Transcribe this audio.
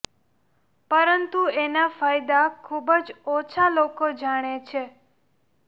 પરંતુ એના ફાયદા ખૂબ જ ઓછા લોકો જાણે છે